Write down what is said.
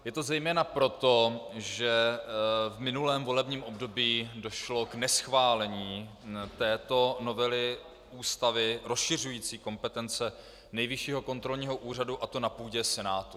Je to zejména proto, že v minulém volebním období došlo k neschválení této novely Ústavy rozšiřující kompetence Nejvyššího kontrolního úřadu, a to na půdě Senátu.